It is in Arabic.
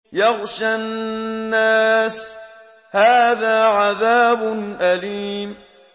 يَغْشَى النَّاسَ ۖ هَٰذَا عَذَابٌ أَلِيمٌ